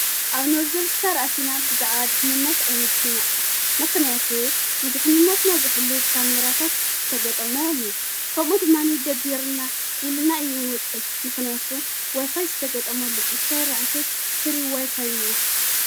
ኣብ ኖርዘርን ስታር ኣቲና ብዛዕባ ድኅንነት ኣይንጹምናኡ ምኽንያቱ ንድኅንነትና ዝሕሉ ካሚራታት ዝተገጠመ ዎሚ ከምኡ ድማኒ ደብርና ኢልና ይውንወፅን ምኽንያቱ ዋይፋይ ዝተገጠሞ ልልእስራኤል ዋዕተይ ፍሪ ዋይፋይን ስለልተገጠመሉ እዩ።